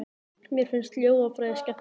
Mér finnst hljóðfræði skemmtileg.